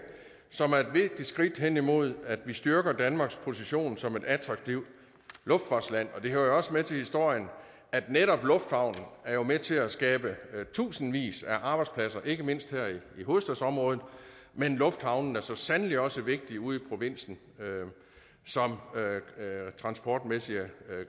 som er et vigtigt skridt hen imod at vi styrker danmarks position som et attraktivt luftfartsland og det hører jo også med til historien at netop lufthavnen er med til at skabe tusindvis af arbejdspladser ikke mindst her i hovedstadsområdet men lufthavnene er så sandelig også vigtige ude i provinsen som transportmæssige